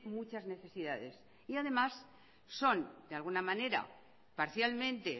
muchas necesidades y además son de alguna manera parcialmente